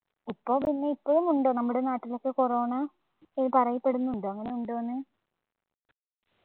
ഇപ്പോ പിന്നെ ഇപ്പോഴും ഉണ്ട് നമ്മുടെ നാട്ടിലൊക്കെ corona പറയപ്പെടുന്നുണ്ടോ അങ്ങനെ ഉണ്ടോ ന്ന്‌